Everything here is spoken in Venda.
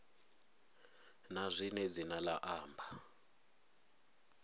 na zwine dzina la amba